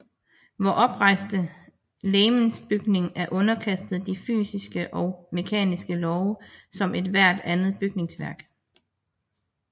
Vor oprejste legemsbygning er underkastet de samme fysiske og mekaniske love som ethvert andet bygningsværk